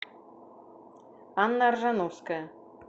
анна ржановская